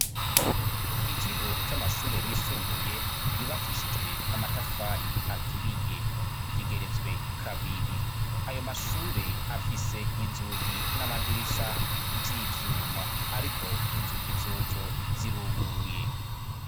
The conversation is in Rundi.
ikigo cy'amashure y'isumbuye yubakishijwe amatafari aturiye kigeretswe kabiri ayo mashure afise inzugi n'amadirisha by'ivyuma ariko inzugi zozo ziruguruye